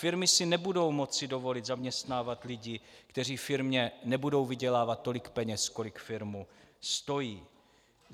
Firmy si nebudou moci dovolit zaměstnávat lidi, kteří firmě nebudou vydělávat tolik peněz, kolik firmu stojí.